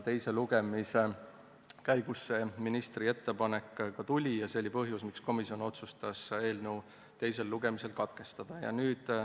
Teise lugemise käigus see ministri ettepanek ka tuli ja see oli põhjus, miks komisjon otsustas eelnõu teise lugemise katkestada.